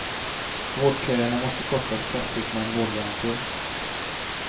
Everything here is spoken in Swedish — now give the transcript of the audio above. Vårdköerna måste kortas kraftigt med en vårdgaranti.